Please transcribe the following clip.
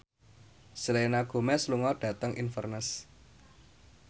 Selena Gomez lunga dhateng Inverness